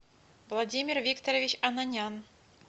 владимир викторович онанян